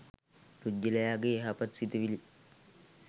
පුද්ගලයාගේ යහපත් සිතිවිලි